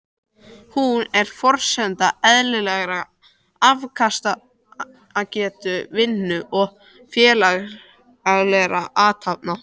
Hún er forsenda eðlilegrar afkastagetu, vinnu og félagslegra athafna.